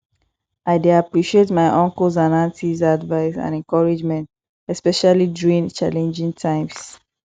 i dey appreciate my uncles and aunties advice and encouragement especially during challenging times